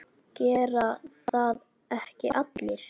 Gera það ekki allir?